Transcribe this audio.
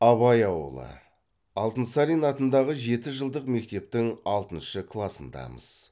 абай ауылы алтынсарин атындағы жетіжылдық мектептің алтыншы класындамыз